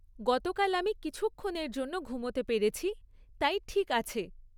গতকাল আমি কিছুক্ষণের জন্য ঘুমোতে পেরেছি, তাই ঠিক আছে।